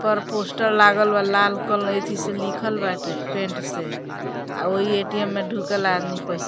पर पोस्टर लागल बा लाल क एथी से लिखल बाटे पेंट से आ ओहि ए.टी.एम. में ढुकेला आदमी पैसा --